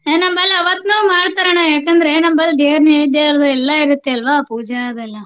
ನಮ್ಮಲ್ಲಿ ಅವತ್ನ್ ಮಾಡ್ತಾರಣ್ಣಾ. ಯಾಕಂದ್ರೆ ನಮ್ಮಲ್ಲಿ ದೇವರ ನೈವೇದ್ಯ ಅದೆಲ್ಲಾ ಇರತ್ತೆ ಅಲ್ವಾ ಪೂಜಾ ಅದೆಲ್ಲಾ.